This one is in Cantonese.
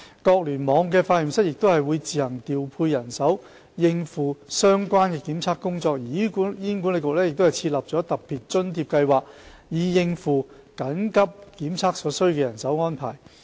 各聯網化驗室會自行調配人手應付相關的檢測工作，而醫管局亦設立"特別酬金計劃"以應付進行緊急檢測所需的人手安排。